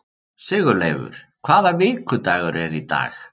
Sigurleifur, hvaða vikudagur er í dag?